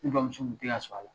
Ne bamuso tun tɛ ka sɔn a la